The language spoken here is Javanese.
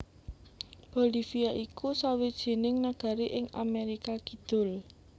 Bolivia iku sawijining nagari ing Amerika Kidul